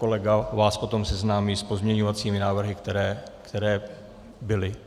Kolega vás potom seznámí s pozměňovacími návrhy, které byly.